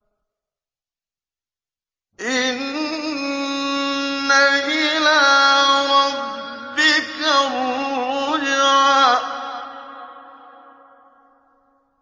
إِنَّ إِلَىٰ رَبِّكَ الرُّجْعَىٰ